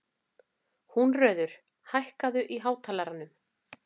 Húnröður, hækkaðu í hátalaranum.